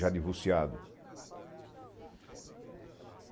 Já divorciado.